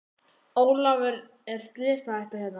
Ólafur er slysahætta hérna?